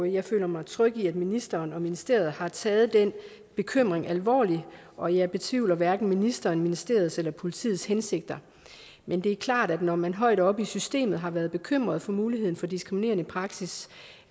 jeg føler mig tryg ved at ministeren og ministeriet har taget den bekymring alvorligt og jeg betvivler hverken ministerens ministeriets eller politiets hensigter men det er klart at når man højt oppe i systemet har været bekymret for muligheden for diskriminerende praksis